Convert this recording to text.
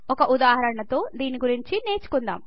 ఒక ఉదాహరణతో దీని గురించి నేర్చుకుందాం